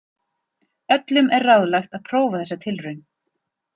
Öllum er ráðlagt að prófa þessa tilraun.